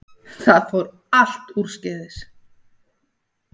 Það fór allt úrskeiðis